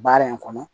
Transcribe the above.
Baara in kɔnɔ